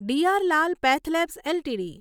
DR Lal PathLabs LTD